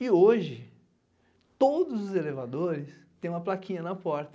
E hoje, todos os elevadores têm uma plaquinha na porta,